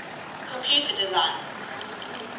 computer designers